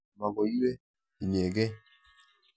Makoi iwe inyekei.